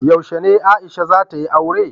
Yaushe ne Aisha za ta yi aure?